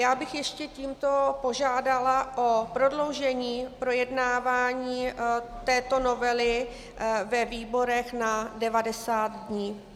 Já bych ještě tímto požádala o prodloužení projednávání této novely ve výborech na 90 dnů.